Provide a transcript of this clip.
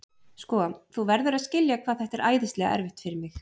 Sko, þú verður að skilja hvað þetta er æðislega erfitt fyrir mig.